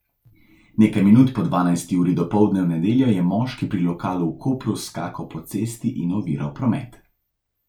Nekaj minut po dvanajsti uri dopoldne v nedeljo je moški pri lokalu v Kopru skakal po cesti in oviral promet.